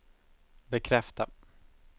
bekräfta